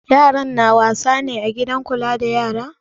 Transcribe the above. Yaran na wasa ne a gidan kula da yara?